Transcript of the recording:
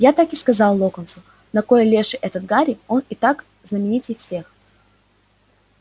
я так и сказал локонсу на кой леший это гарри он и так знаменитей всех